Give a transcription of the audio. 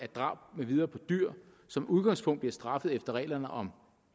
drab med videre på dyr som udgangspunkt bliver straffet efter reglerne om